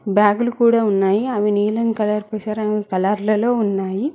బ్యాగులు కూడా ఉన్నాయి అవి నీలం కలర్లలో ఉన్నాయి